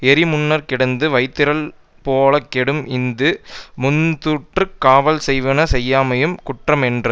எரிமுன்னர்க்கிடந்த வைத்திரள் போலக் கெடும் இது முந்துற்று காவல் செய்வன செய்யாமையும் குற்ற மென்றது